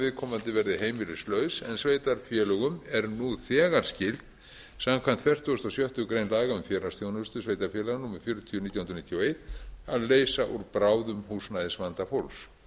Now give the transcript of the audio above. viðkomandi verði heimilislaus en sveitarfélögum er nú þegar skylt samkvæmt fertugustu og sjöttu grein laga um félagsþjónustu sveitarfélaga númer fjörutíu nítján hundruð níutíu og eitt að leysa úr bráðum húsnæðisvanda fólks